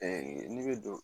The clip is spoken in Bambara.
n'i bɛ don